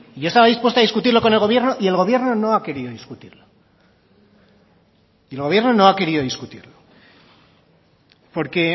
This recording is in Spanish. yo estaba dispuesto a discutirlo con el gobierno y el gobierno no ha querido discutir el gobierno no ha querido discutirlo porque